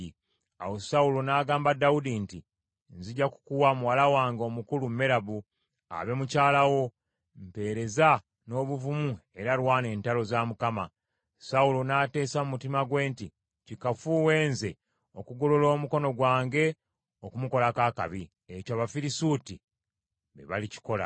Awo Sawulo n’agamba Dawudi nti, “Nzija kukuwa muwala wange omukulu Merabu, abe mukyala wo, mpeereza n’obuvumu era lwana entalo za Mukama .” Sawulo n’ateesa mu mutima gwe nti, “Kikafuuwe nze okugolola omukono gwange okumukolako akabi. Ekyo Abafirisuuti be balikikola.”